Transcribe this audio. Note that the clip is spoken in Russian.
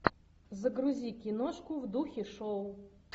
загрузи киношку в духе шоу